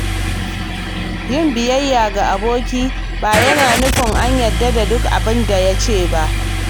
Yin biyayya ga aboki ba yana nufin a yarda da duk abin da ya ce ba.